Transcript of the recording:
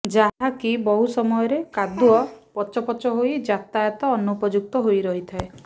ଯାହାକି ବହୁ ସମୟରେ କାଦୁଆ ପଚ ପଚ ହୋଇ ଯାତାୟାତ ଅନୁପଯୁକ୍ତ ହୋଇ ରହିଥାଏ